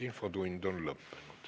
Infotund on lõppenud.